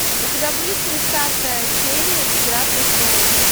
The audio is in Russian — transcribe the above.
у тебя будет тридцатая серия игра престолов